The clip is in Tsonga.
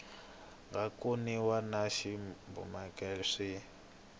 nga kumiwa na swibumabumelo swi